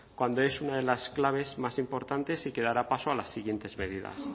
cuando es una de las claves más importantes y que dará paso a las siguientes medidas